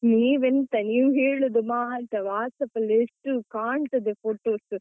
ನೀವೆಂತ, ನೀವು ಹೇಳುದು ಮಾತ್ರ, WhatsApp ಅಲ್ಲಿ ಎಷ್ಟು ಕಾಣ್ತದೆ photos.